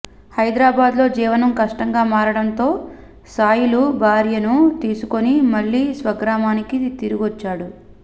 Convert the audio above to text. హైదరాబాద్లో జీవనం కష్టంగా మారడంతో సాయిలు భార్యను తీసుకుని మళ్లీ స్వగ్రామానికి తిరిగొచ్చేశాడు